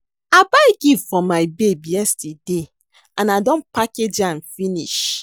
I buy gift for my babe yesterday and I don package am finish